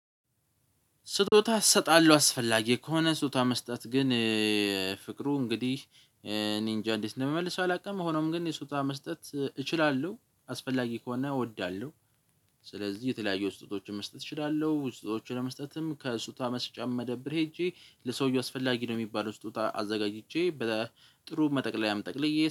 ስጦታ እሰጣለሁ አስፈላጊ ከሆነ ስጦታ መስጠት ግን ፍቅሩ እንግዲህ እኔ እንጃ እንዴት እንደምመልሰው አላቅም። ሆኖም ግን የስጦታ መስጠት እችላለሁ አስፈላጊ ከሆነ እወዳለሁ። ስለዚህ የተለያዩ ስጦታዎችን መስጠት እችላለሁ ስጦታዎችን ለመስጠትም ከስጦታ መስጫ መደብር ሄጄ ለሰውየው አስፈላጊ ነው የሚባለው ስጦታ አዘጋጅቼ በ ጥሩ መጠቅለያም ጠቅልዬ